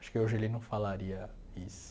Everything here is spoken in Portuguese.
Acho que hoje ele não falaria isso.